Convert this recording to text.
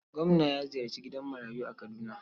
Gwamna ya ziyarci gidan marayu a Kaduna.